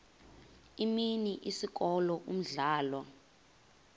imini isikolo umdlalo